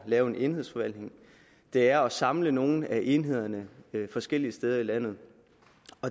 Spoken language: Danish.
lave en enhedsforvaltning det er at samle nogle af enhederne forskellige steder i landet